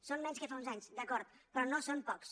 són menys que fa uns anys d’acord però no són pocs